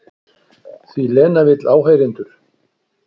Því Lena vill áheyrendur.